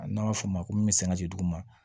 N'an b'a f'o ma ko me sin ka di duguma